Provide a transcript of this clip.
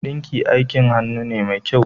Ɗinki aikin hannu ne mai kyau